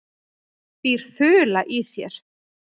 Býr ÞULA í þér?